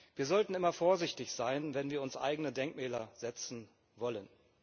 Wir sollten immer vorsichtig sein, wenn wir uns eigene Denkmäler setzen wollen.